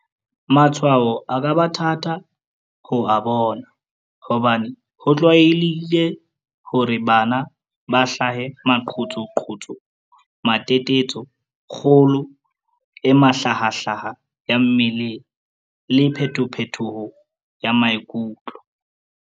Matshwao a ka ba thata ho a bona hobane ho tlwaelehile hore bana ba hlahe maqhutsu, matetetso, kgolo e mahla hahlaha ya mmeleng, le phetophetoho ya maikutlo.